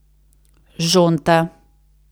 Žonta.